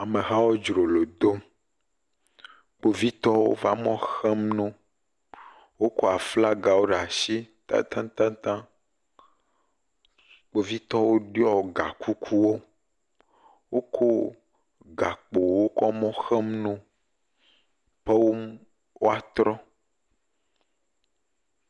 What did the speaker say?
Amehawo dzrolo dom, kpovitɔwo va mɔ xem no. wokɔ aflagawo ɖe asi tatatataŋ, kpovitɔwo ɖiɔ gakukuwo, woko gakpowo kɔ me xem no be wo woatrɔ.